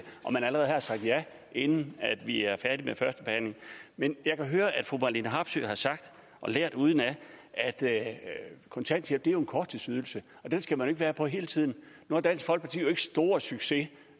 og man allerede har sagt ja inden vi er færdige med første behandling men jeg kan høre at fru marlene harpsøe har sagt og lært udenad at kontanthjælp er en korttidsydelse og den skal man ikke være på hele tiden nu har dansk folkeparti jo ikke stor succes